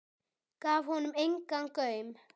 Gaf honum engan gaum.